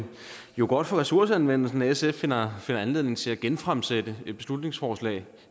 jo godt for ressourceanvendelsen at sf finder anledning til at genfremsætte et beslutningsforslag